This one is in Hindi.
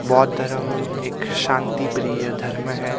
बौद्ध धर्म एक शांति प्रिय धर्म है.